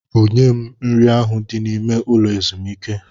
Bunye m nri ahụ dị n'ime ụlọ ezumike!